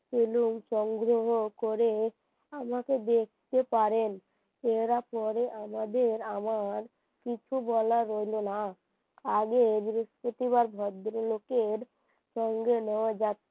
এবং সংগ্রহ করে আমাকে দেখতে পারেন এরা পরে আমাদের আমার কিছু বলার রইল না আগে বৃহস্পতিবার ভদ্রলোকের সঙ্গে নেওয়া